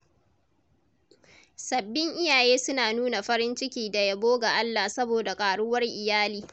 Sabbin iyaye suna nuna farin ciki da yabo ga Allah saboda karuwar iyali.